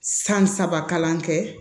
San saba kalan kɛ